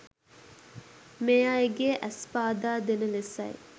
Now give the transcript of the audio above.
මේ අයගේ ඇස් පාදා දෙන ලෙසයි.